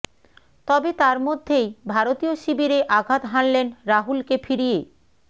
তবে তার মধ্যেই ভারতীয় শিবিরে আঘাত হানলেন রাহুলকে ফিরিয়ে